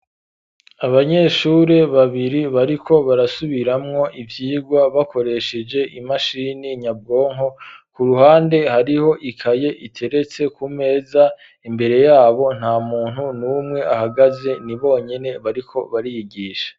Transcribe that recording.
Abanyeshure babiri, bariko barasubiramwo ivyigwa bakoresheje imashini nyabwonko; ku ruhande hariho ikaye iteretse ku meza, imbere y'abo nta muntu n'umwe ahagaze, ni bonyene bariko bariyigisha.